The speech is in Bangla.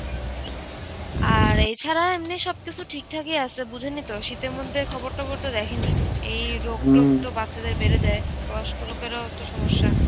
আর এই ছাড়া এমনি সব কিছু ঠিকঠাকই আছে বুঝেনইতো শীতের মধ্যে খবর টবর তো দেখেনি. এই রোগ টোগ তো বাচ্চাদের বেড়ে যায়, বয়স্ক লোকেরও তো সমস্যা.